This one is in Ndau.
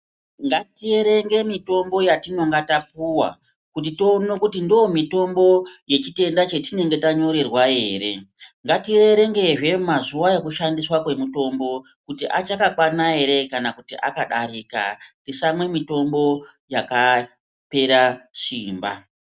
Ngatierenge mitombo yetinonga tapuwa kuti tione kuti ndomitombo yechitenda chetinenge tanyorerwa here, ngatierengezve mazuva ekushandiswa kwemitombo kuti achakakwana here kana kuti akadarika, tisamwe mitombo yakapera simba.